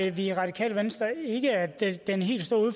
i radikale venstre ikke at den helt store